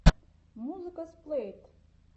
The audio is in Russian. музыка сплэйт